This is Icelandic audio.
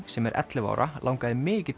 sem er ellefu ára langaði mikið